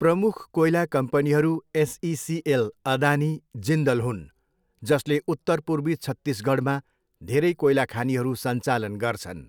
प्रमुख कोइला कम्पनीहरू एसइसिएल, अदानी, जिन्दल हुन् जसले उत्तर पूर्वी छत्तीसगढमा धेरै कोइला खानीहरू सञ्चालन गर्छन्।